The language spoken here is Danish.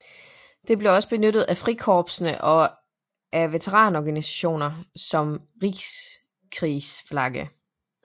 Det blev også benyttet af Frikorpsene og af veteranorganisationer som Reichskriegsflagge